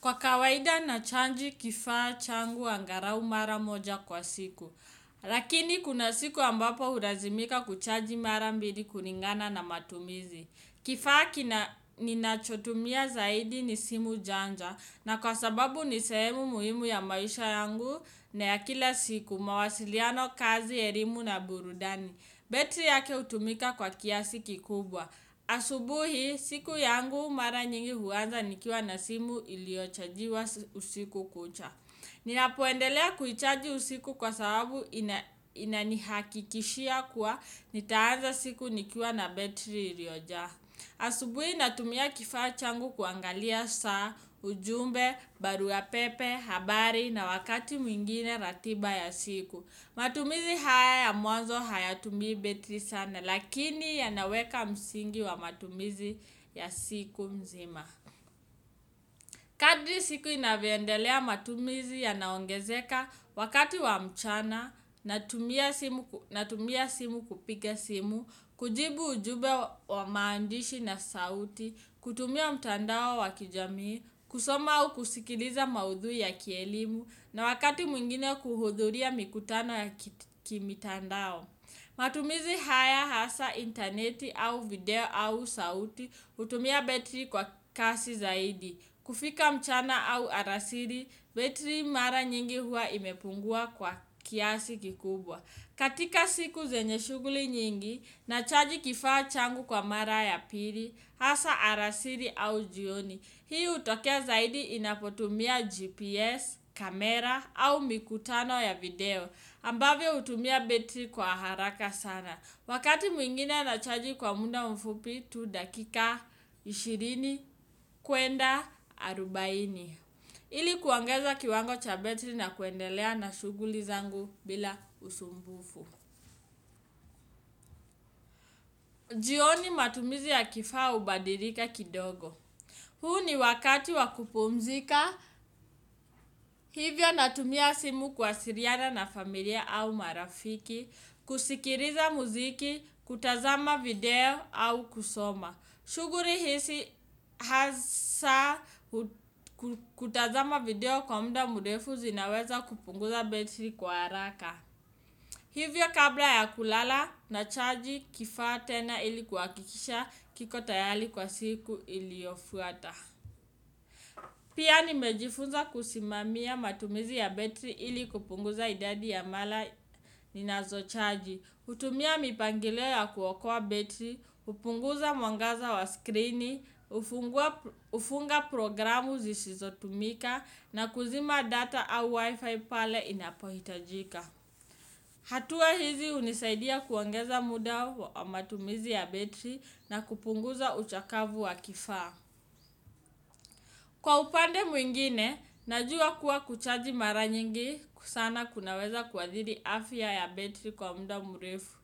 Kwa kawaida na chaji kifaa changu angalau mara moja kwa siku. Lakini kuna siku ambapo hulazimika kuchaji mara mbili kulingana na matumizi. Kifaa ninachotumia zaidi ni simu janja, na kwa sababu ni sehemu muhimu ya maisha yangu na ya kila siku mawasiliano kazi elimu na burudani. Battery yake hutumika kwa kiasi kikubwa. Asubuhi siku yangu mara nyingi huwaza nikiwa na simu iliochajiwa usiku kucha. Ninapendelea kuichaji usiku kwa sababu inanihakikishia kuwa nitaanza siku nikiwa na betri ilioja. Asubuhi natumia kifaa changu kuangalia saa, ujumbe, barua pepe, habari na wakati mwingine ratiba ya siku. Matumizi haya ya muanzo haya tumii battery sana, lakini yanaweka msingi wa matumizi ya siku nzima. Kadri siku inavyo endelea matumizi yanaongezeka, wakati wa mchana, na tumia simu kupiga simu, kujibu ujube wa maandishi na sauti, kutumia mtandao wa kijamii, kusoma au kusikiliza maudhui ya kielimu, na wakati mwingine kuhudhuria mikutano ya kimitandao. Matumizi haya hasa interneti au video au sauti hutumia betri kwa kasi zaidi. Kufika mchana au alasiri, betri mara nyingi huwa imepungua kwa kiasi kikubwa. Katika siku zenye shuguli nyingi nachaji kifaa changu kwa mara ya pili, hasa alasiri au jioni. Hii hutokea zaidi inapotumia GPS, kamera au mikutano ya video, ambavyo utumia battery kwa haraka sana. Wakati mwingine na chaji kwa munda mfupi tu dakika ishirini kwenda arubaini. Ili kuongeza kiwango cha bettery na kuendelea na shughuli zangu bila usumbufu. Jioni matumizi ya kifaa hubadilika kidogo. Huu ni wakati wa kupumzika, hivyo natumia simu kuwasiliana na familia au marafiki, kusikiliza muziki, kutazama video au kusoma. Shughuli hizi hasa kutazama video kwa mda mrefu zinaweza kupunguza battery kwa haraka. Hivyo kabla ya kulala nachaji kifaa tena ili kuhakikisha kiko tayari kwa siku iliyofuata. Pia nimejifunza kusimamia matumizi ya battery ili kupunguza idadi ya mara ninazo chaji, hutumia mipangilio ya kuokoa battery, kupunguza mwangaza wa screen, kufunga programu zisizotumika na kuzima data au wifi pale inapohitajika. Hatua hizi hunisaidia kuongeza muda wa matumizi ya battery na kupunguza uchakavu wa kifaa. Kwa upande mwingine, najua kuwa kuchaji mara nyingi sana kunaweza kuathiri afya ya battery kwa muda mrefu.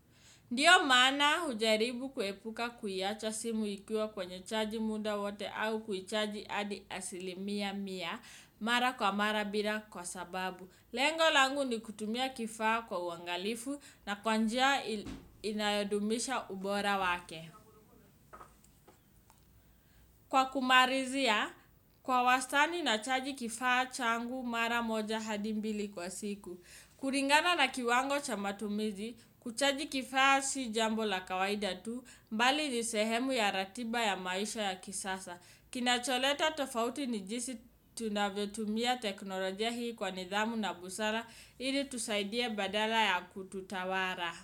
Ndio maana hujaribu kuepuka kuiacha simu ikua kwenye chaji muda wote au kuichaji hadi asilimia mia mara kwa mara bila kwa sababu. Lengo langu ni kutumia kifaa kwa uangalifu na kwa njia inayodumisha ubora wake. Kwa kumalizia, kwa wastani na chaji kifaa changu mara moja hadi mbili kwa siku. Kulingana na kiwango cha matumizi, kuchaji kifaa si jambo la kawaida tu, mbali ni sehemu ya ratiba ya maisha ya kisasa. Kinacholeta tofauti ni jisi tunavyo tumia teknolojia hii kwa nidhamu na busara, ili itusaidie badala ya kututawala.